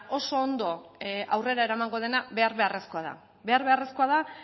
oso ondo aurrera eramango dena behar beharrezkoa da behar beharrezkoa da